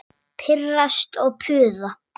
Og pirrast og puða.